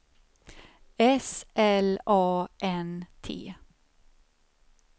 S L A N T